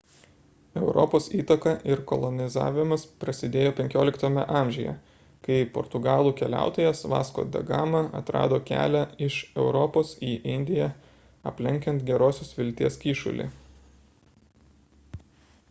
europos įtaka ir kolonizavimas prasidėjo xv amžiuje kai portugalų keliautojas vasco da gama atrado kelią iš europos į indiją aplenkiant gerosios vilties kyšulį